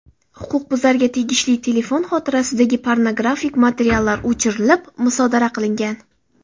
Huquqbuzarga tegishli telefon xotirasidagi pornografik materiallar o‘chirilib, musodara qilingan.